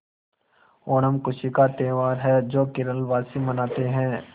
ओणम खुशी का त्यौहार है जो केरल वासी मनाते हैं